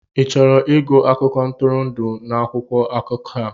Ị chọrọ ịgụ akụkọ ntụrụndụ n'akwụkwọ akụkọ a?